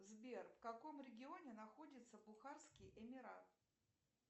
сбер в каком регионе находится бухарский эмират